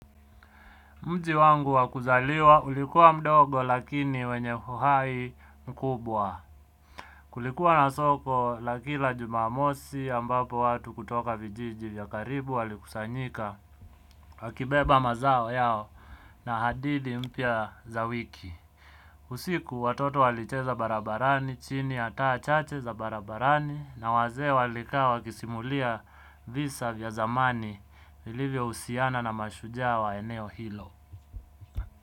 Mji wangu wa kuzaliwa ulikuwa mdogo lakini wenye uhai mkubwa. Kulikuwa na soko la kila jumamosi ambapo watu kutoka vijiji vya karibu walikusanyika. Wakibeba mazao yao na hadithi mpya za wiki. Usiku, watoto walicheza barabarani chini ya taa chache za barabarani, na wazee walikaa wakisimulia visa vya zamani vilivyohusiana na mashujaa wa eneo hilo.